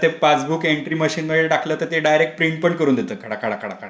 त्या passbook entry मशीनमध्ये टाकलं तर ते डायरेक्ट प्रिंट पण करून देत खळखळा खळखळा.